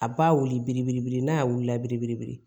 A b'a wili n'a y'a wili la biribelebele